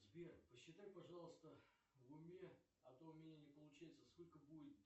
сбер посчитай пожалуйста в уме а то у меня не получается сколько будет